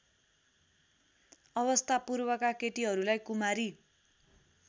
अवस्थापूर्वका केटीहरूलाई कुमारी